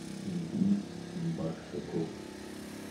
ильгиз маршаков